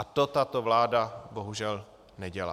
A to tato vláda bohužel nedělá.